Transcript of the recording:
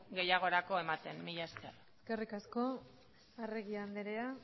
gehiagorako ematen mila esker eskerrik asko arregi andrea